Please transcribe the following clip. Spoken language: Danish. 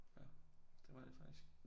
Ja det var det faktisk